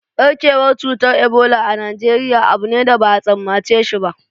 Ɓarkewar cutar Ebola a Najeriya abu ne da ba a tsammace shi ba